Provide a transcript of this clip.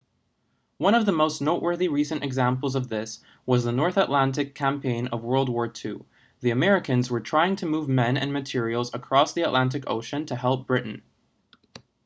one of the most noteworthy recent examples of this was the north atlantic campaign of wwii the americans were trying to move men and materials across the atlantic ocean to help britain